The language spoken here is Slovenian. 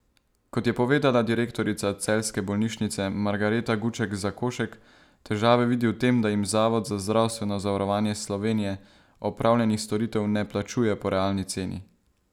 Kot je povedala direktorica celjske bolnišnice Margareta Guček Zakošek težave vidi v tem, da jim Zavod za zdravstveno zavarovanje Slovenije opravljenih storitev ne plačuje po realni ceni.